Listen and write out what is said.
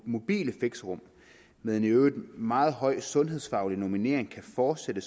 mobile fixerum med en i øvrigt meget høj sundhedsfaglig normering kan fortsætte